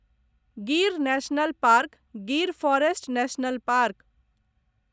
Gir national park Gir forest national park